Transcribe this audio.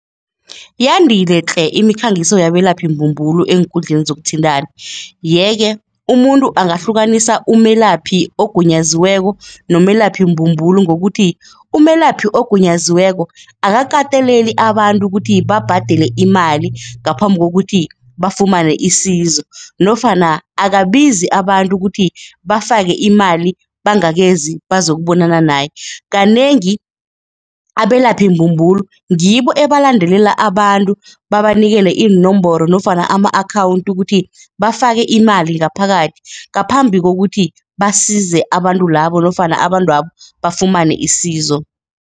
Yandile tle imikhangiso yabelaphi-mbumbulo eenkundleni zokuthintana yeke umuntu angahlukanisa umelaphi ogunyaziweko nomelaphi-mbumbulo ngokuthi umelaphi ogunyaziweko, akakateleli abantu ukuthi babhadele imali ngaphambi kokuthi bafumane isizo nofana akabizi abantu ukuthi bafake imali bangakezi bazokubonana naye. Kanengi abelaphi-mbumbulo ngibo ebalandelela abantu, babanikele inomboro nofana ama-akhawundi ukuthi bafake imali ngaphakathi ngaphambi kokuthi basize abantu labo nofana abantwabo bafumane isizo.